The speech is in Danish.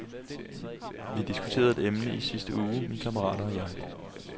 Vi diskuterede et emne i sidste uge, mine kammerater og jeg.